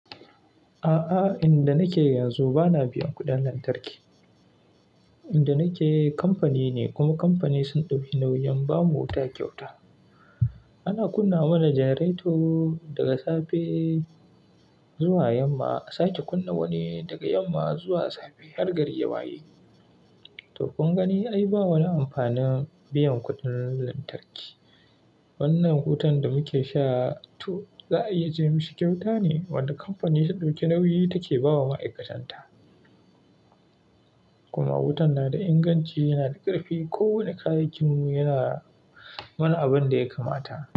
A'a, inda nake yanzu bana biyan kuɗin lantarki. Inda nake kamfani ne kuma kamfani sun ɗauki nauyin ba mu wuta kyauta. Ana kunna mana generator daga safe zuwa yamma. Sai ta kunna wani daga yamma zuwa safe har gari ya waye. Dukunga ni ai ba wa na amfanin biyan kuɗin lantarki. Wannan wutan da muke sha to za a iya ce mashi kyauta ne wanda kamfani ta ɗauki nauyi take bawa ma'aikatan ta. Kuma wutan na da inganci yana da ƙarfi. Kowane kayakinmu yana mana abin da ya kamata.